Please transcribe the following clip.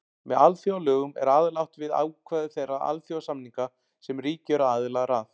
Með alþjóðalögum er aðallega átt við ákvæði þeirra alþjóðasamninga sem ríki eru aðilar að.